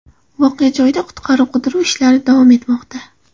Voqea joyida qutqaruv-qidiruv ishlari davom etmoqda.